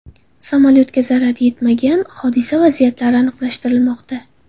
Samolyotga zarar yetmagan, hodisa vaziyatlari aniqlashtirilmoqda.